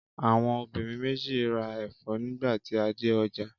Àwọn obìnrin méjì ń ra ẹ̀fọ́ nígbà tí a dé ọjà.